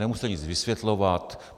Nemusíte nic vysvětlovat.